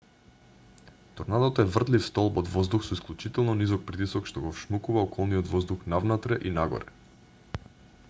торнадото е вртлив столб од воздух со исклучително низок притисок што го вшмукува околниот воздух навнатре и нагоре